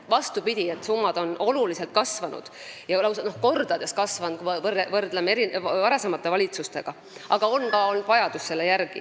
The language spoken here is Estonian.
Vastupidi, need summad on oluliselt, lausa kordades kasvanud, kui me võrdleme varasemate valitsustega, aga selle järele on ka vajadus olnud.